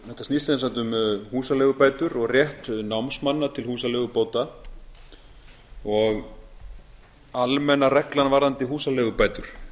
þetta snýst sem sagt um húsaleigubætur og rétt námsmanna til húsaleigubóta almenna reglan varðandi húsaleigubætur